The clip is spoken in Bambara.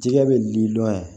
Jɛgɛ bɛ di dɔn yan